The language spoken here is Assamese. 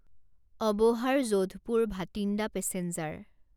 অবোহাৰ যোধপুৰ ভাটিন্দা পেছেঞ্জাৰ